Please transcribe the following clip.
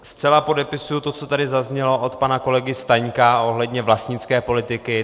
Zcela podepisuji to, co tady zaznělo od pana kolegy Staňka ohledně vlastnické politiky.